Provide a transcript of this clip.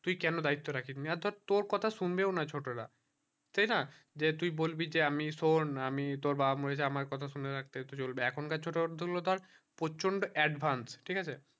তুই কেন দায়িত্ব রাখিস নি আর ধর তোর কথা সুনবেও না ছোটো রা সেই না যে তুই বলবি যে আমি শোন্ আমি তোর বাবা বলেছে আমার কথা শুনে রাখতে চলবে এখন কার ছোট গুলো ধর প্রচন্ড advance ঠিক আছে